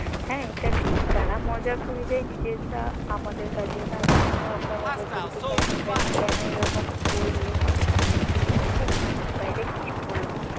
হ্যাঁ এটা ঠিক তারা মজা করবে নিজেরা আমাদের কাছে তাদেরকে নিয়ে আমরা মজা করি জে কেন কেন কেন এরকম বলল